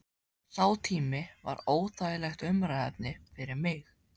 Sá tími var óþægilegt umræðuefni fyrir mig.